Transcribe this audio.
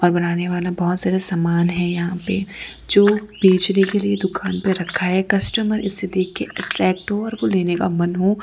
और बनाने वाला बहुत सारा समान है यहां पे जो बेचने के लिए दुकान पे रखा है कस्टमर इसे देख के अट्रैक्ट हो और लेने का मन हो।